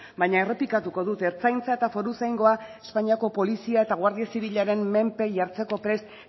baina errepikatuko dut ertzaintza eta foruzaingoa espainiako polizia eta guardia zibilaren menpe jartzeko prest